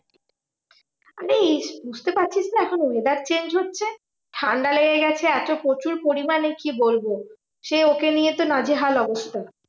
আরে বুঝতে পারছিস না, weather change হচ্ছে, ঠান্ডা লেগে গেছে এত প্রচুর পরিমানে, কি বলবো? সে ওকে নিয়ে তো নাজেহাল অবস্থা।